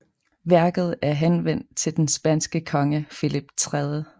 Værket er henvendt til den spanske konge Filip 3